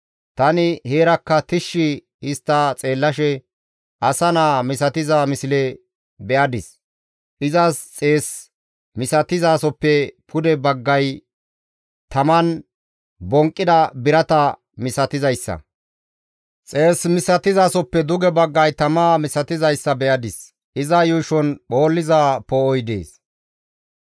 Tani heerakka tishshi histta xeellashe asa naa misatiza misle be7adis; izas xees misatizasoppe pude baggay taman bonqqida birata misatizayssa; xees misatizasoppe duge baggay tama misatizayssa be7adis; iza yuushon phoolliza poo7oy dees.